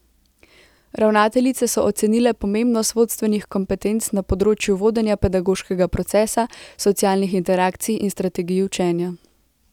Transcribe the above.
Ravnateljice so ocenile pomembnost vodstvenih kompetenc na področju vodenja pedagoškega procesa, socialnih interakcij in strategij učenja.